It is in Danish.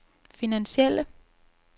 finansielle